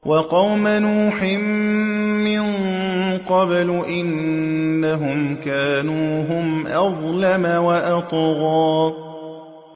وَقَوْمَ نُوحٍ مِّن قَبْلُ ۖ إِنَّهُمْ كَانُوا هُمْ أَظْلَمَ وَأَطْغَىٰ